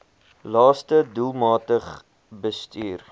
laste doelmatig bestuur